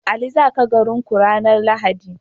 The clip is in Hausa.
Ali zaka garin ku ranar lahadi?